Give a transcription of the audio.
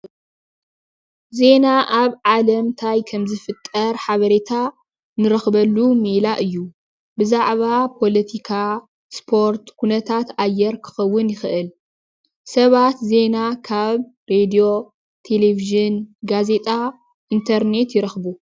ዜና ኣብ ዓለም እንታይ ከም ዝፍጠር ሓበሬታ እንረክበሉ ሜላ እዩ። ብዛዕባ ፖለቲካ ፣ ስፖርት፣ ኩነታት አየር ክኾዉን ይክእል። ሰባት ዜና ካብ ሬድዮ፣ ቴሌቭዥን፣ ጋዜጣ ፣ኢንተርኔት ይረክቡ።